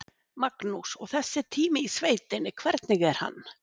Magnús: Og þessi tími í sveitinni, hvernig er hann?